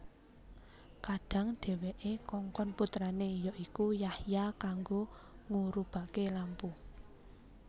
Kadhang dhèwèké kongkon putrané ya iku Yahya kanggo ngurubaké lampu